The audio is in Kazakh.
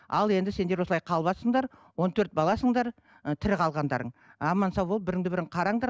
ал енді сендер осылай қалыватсыңдар он төрт баласыңдар ы тірі қалғандарың аман сау болып біріңді бірің қараңдар